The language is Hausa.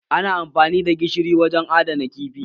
Ana amfani da gishiri wajen adana kifi